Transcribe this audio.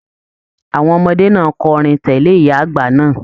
Àwọn ọmọdé náà kọrin tẹle ìyá àgbà náà.